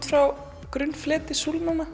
frá grunnfleti